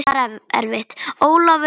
Ólafur Ármann.